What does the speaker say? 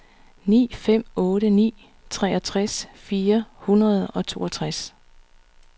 ni fem otte ni treogtres fire hundrede og toogtres